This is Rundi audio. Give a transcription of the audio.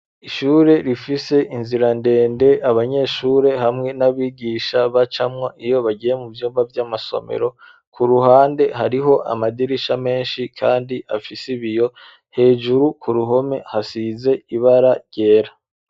Ishure rifise inzira ndende abanyeshure hamwe n'abigisha bacamwa iyo bagiye mu vyumba by'amasomero ku ruhande hariho amadirisha menshi kandi afise ibiyo hejuru ku ruhome hasize ibara ryera.